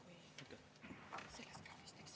Palun!